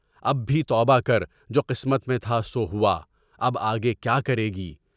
اب بھی توبہ کر، جو قسمت میں تھا سو ہوا، اب آگے کیا کرے گی؟